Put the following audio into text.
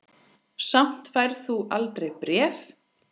Samt færð þú aldrei bréf.